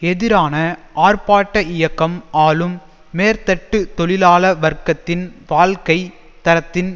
எதிரான ஆர்ப்பாட்ட இயக்கம் ஆளும் மேற்தட்டு தொழிலாள வர்க்கத்தின் வாழ்க்கை தரத்தின்